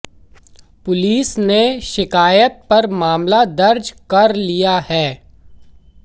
police ने शिकायत पर मामला दर्ज कर लिया है